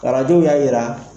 Arajow y'a jira.